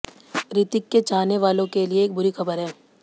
रितिक के चाहने वालों के लिए एक बुरी खबर है